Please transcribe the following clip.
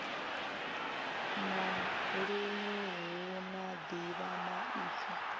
na luṅwe hu na ḓivhamaipfi